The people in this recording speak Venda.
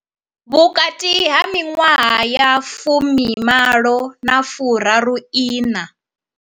Vhukati ha miṅwaha ya fumi malo na fu raru iṋa.